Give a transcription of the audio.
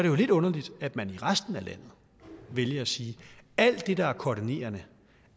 jo lidt underligt at man i resten af landet vælger at sige at alt det der er koordinerende